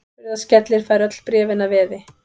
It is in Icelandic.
Hurðaskellir fær öll bréfin að veði.